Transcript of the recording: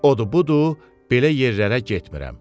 Odu, budur, belə yerlərə getmirəm.